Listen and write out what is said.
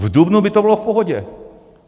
V dubnu by to bylo v pohodě.